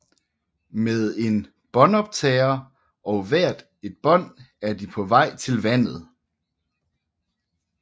Med en båndoptager og hver et bånd er de på vej til vandet